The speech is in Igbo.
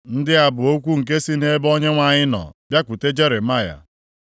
Ndị a bụ okwu nke sị nʼebe Onyenwe anyị nọ bịakwute Jeremaya.